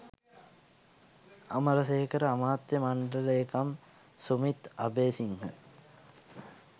අමරසේකර අමාත්‍ය මණ්ඩල ලේකම් සුමිත් අබේසිංහ